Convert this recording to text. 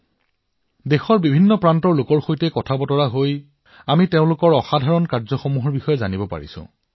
আমি দেশৰ প্ৰতিটো কোণৰ মানুহৰ সৈতে কথা পাতিছো আৰু তেওঁলোকৰ অসাধাৰণ কামৰ বিষয়ে জানিছো